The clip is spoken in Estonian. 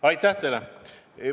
Aitäh teile!